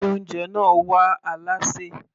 Ilé oúnjẹ náà wá alásè.